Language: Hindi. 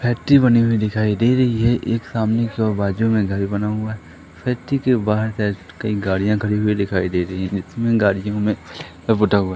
फैक्ट्री बनी हुई दिखाई दे रही है एक सामने कि ओर बाजू में घर बना हुआ फैक्ट्री के बाहर कहीं गाड़ियां खड़ी हुई दिखाई दे रही है इसमें गाड़ियों में --